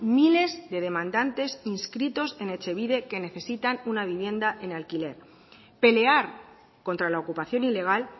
miles de demandantes inscritos en etxebide que necesitan una vivienda en alquiler pelear contra la ocupación ilegal